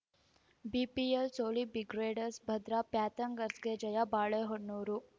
BPL ಸೋಲಿಹ್‌ ಬಿಗ್ರೇಡರ್ಸ್ ಭದ್ರಾ ಪ್ಯಾಂಥರ್ಸ್ಗ ಜಯ ಬಾಳೆಹೊನ್ನೂರು